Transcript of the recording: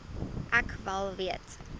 ek wel weet